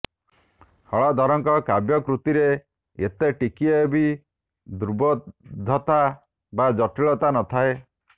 ହଳଧରଙ୍କ କାବ୍ୟକୃତିରେ ଏତେ ଟିକିଏ ବି ଦୂର୍ବେଧ୍ୟତା ବା ଜଟିଳତା ନଥାଏ